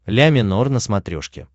ля минор на смотрешке